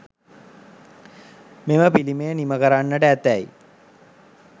මෙම පිළිමය නිමකරන්නට ඇතැයි